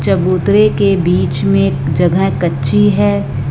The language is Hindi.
चबूतरे के बीच में एक जगह कच्ची है।